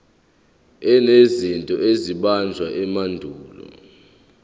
enezinto ezabunjwa emandulo